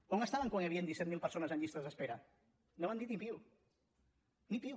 on estaven quan hi havien disset mil persones en llistes d’espera no van dir ni piu ni piu